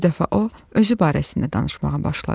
Bu dəfə o, özü barəsində danışmağa başladı.